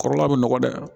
Kɔrɔla bɛ nɔgɔn dɛ